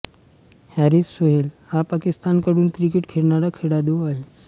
Harris Sohail हा पाकिस्तानकडून cricket खेळणारा खेळाडू आहे